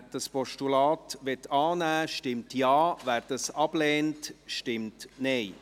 Wer das Postulat annehmen möchte, stimmt Ja, wer dies ablehnt, stimmt Nein.